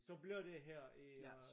Så bliver det her i øh